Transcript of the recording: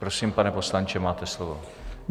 Prosím, pane poslanče, máte slovo.